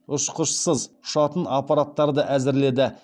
ұшқышсыз ұшатын аппараттарды әзірледі